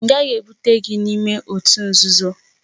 M gaghị ebute gị n'ime òtù nzuzo!